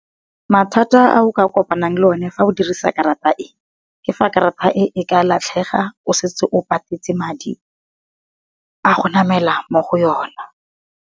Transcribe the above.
Mathata a o ka kopanang le o ne fa o dirisa karata e, ke fa karata e e ka latlhega o setse o patetse madi a go namela mo go yona.